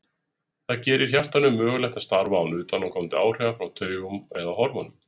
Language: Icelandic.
það gerir hjartanu mögulegt að starfa án utanaðkomandi áhrifa frá taugum eða hormónum